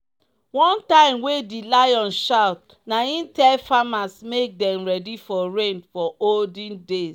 one time wey di lion shout na im tell farmers make dem ready for rain for olden days.